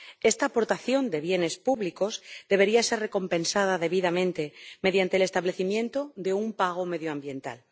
Esta aportación de bienes públicos debería ser recompensada debidamente mediante el establecimiento de un pago medioambiental.